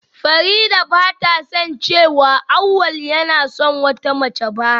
Farida bata san cewa Awwal yana son wata mace ba.